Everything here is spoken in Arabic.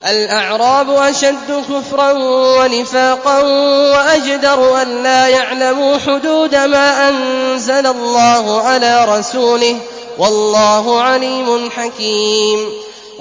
الْأَعْرَابُ أَشَدُّ كُفْرًا وَنِفَاقًا وَأَجْدَرُ أَلَّا يَعْلَمُوا حُدُودَ مَا أَنزَلَ اللَّهُ عَلَىٰ رَسُولِهِ ۗ وَاللَّهُ عَلِيمٌ حَكِيمٌ